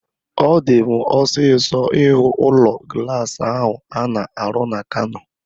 Ọ di m osisọ ihu ụlọ glaasi ahu a na-arụ na Kano